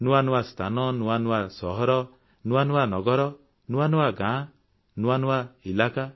ନୂଆ ନୂଆ ସ୍ଥାନ ନୂଆ ନୂଆ ସହର ନୂଆ ନୂଆ ନଗର ନୂଆ ନୂଆ ଗାଁ ଓ ନୂଆ ନୂଆ ଇଲାକା